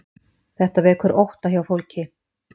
Þetta vekur ótta hjá fólki